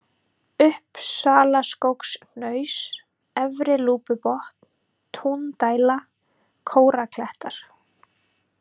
Uppsalaskógshnaus, Efri-Lúpubotn, Túndæla, Kóraklettar